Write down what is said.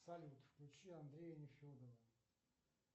салют включи андрея нефедова